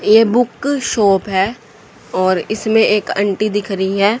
ये book shop है और इसमें एक आंटी दिख रही है।